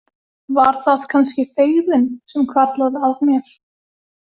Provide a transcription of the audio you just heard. Var það kannski feigðin sem hvarflaði að mér?